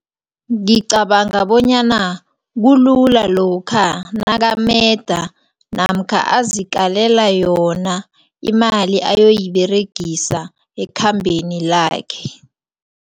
Ngicabanga bonyana kulula lokha nakameda namkha azikalela yona imali ayoyiberegisa ekhambeni lakhe.